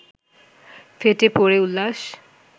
ফেটে পড়ে উল্লাস